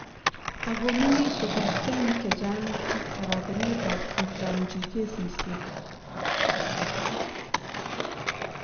ago mengisie kristianik chechang ak aragenet ab kitamchi kesisiek